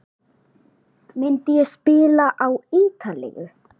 Myndi ég spila á Ítalíu?